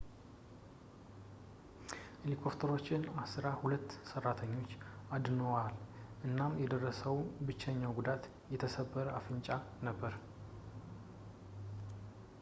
ሄሊኮፕተሮች ዐሥራ ሁለት ሠራተኞች አድነዋል እናም የደረሰው ብቸኛ ጉዳት የተሰበረ አፍንጫ ነበር